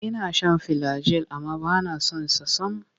Ina shan filagil amma ba na son sa sam.